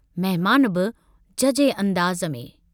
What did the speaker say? मेहमान बि झझे अंदाज में।